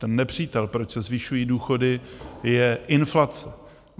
Ten nepřítel, proč se zvyšují důchody, je inflace.